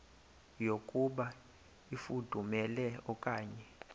yokuba ifudumele okanye